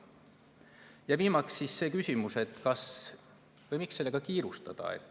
Ja viimaks siis see küsimus, kas või miks sellega kiirustada.